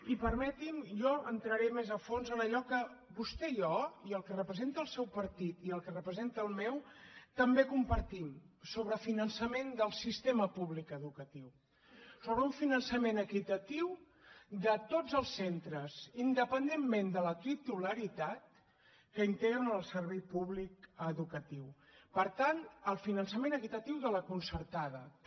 i permetim’ho jo entraré més a fons en allò que vostè i jo i el que representa el seu partit i el que representa el meu també compartim sobre finançament del sistema públic educatiu sobre un finançament equitatiu de tots els centres independentment de la titularitat que integren el servei públic educatiu per tant el finançament equitatiu de la concertada també